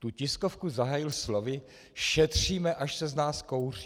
Tu tiskovku zahájil slovy "šetříme, až se z nás kouří".